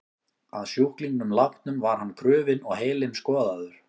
Að sjúklingnum látnum var hann krufinn og heilinn skoðaður.